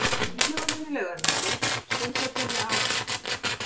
Sundlaugunum í Laugarnesi, Sundhöllinni, á